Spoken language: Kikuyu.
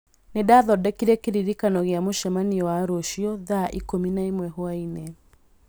nĩndathondekire kĩririkano gia mũcemanio wa rũciũ thaa ikũmi na ĩmwe hwaĩinĩ